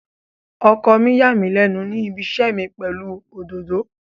Ọkọ mi yà mí lẹ́nu ní ibiṣẹ́ mi pẹ̀lú òdòdó.